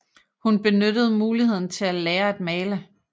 Hun benyttede muligheden til at lære at male